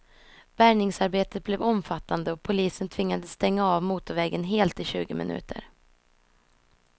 Bärgningsarbetet blev omfattande och polisen tvingades stänga av motorvägen helt i tjugo minuter.